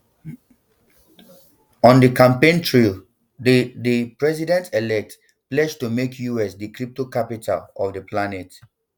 on di campaign trail di di presidentelect pledge to make us di crypto capital of di planet